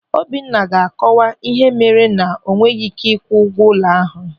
Obinna ga-akọwa ihe mere na o nweghị ị́ké ịkwụ ụgwọ ụlọ ya.